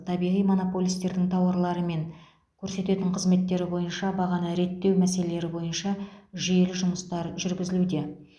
табиғи монополистердің тауарлары мен көрсететін қызметтері бойынша бағаны реттеу мәселелері бойынша жүйелі жұмыстар жүргізілуде